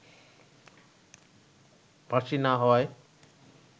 ফাঁসি না হওয়ায়